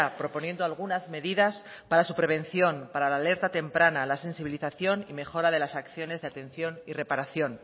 proponiendo algunas medidas para su prevención para la alerta temprana la sensibilización y mejora de las acciones de atención y reparación